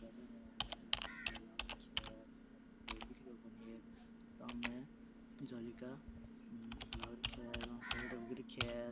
कोई दिखे कोणी है सामने जाली का लाग रखया है --